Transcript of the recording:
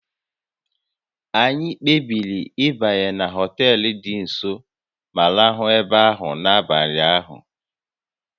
Anyị kpebiri ịbanye na họtel dị nso ma rahụ ebe ahụ n'abalị ahụ